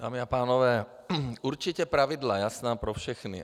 Dámy a pánové, určitě pravidla jasná pro všechny.